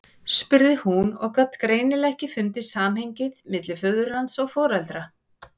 spurði hún og gat greinilega ekki fundið samhengið milli föðurlands og foreldra.